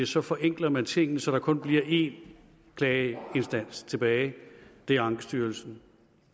så forenkler man tingene så der kun bliver en klageinstans tilbage og det er ankestyrelsen